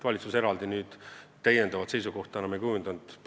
Valitsus täiendavat seisukohta enam hiljem ei kujundanud.